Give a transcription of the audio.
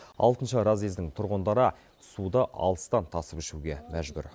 алтыншы разъездің тұрғындары суды алыстан тасып ішуге мәжбүр